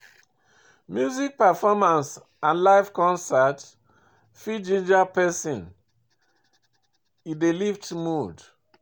Music performance and live concert fit ginger person, e dey lift mood